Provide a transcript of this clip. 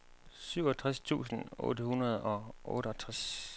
syvogtres tusind otte hundrede og otteogtres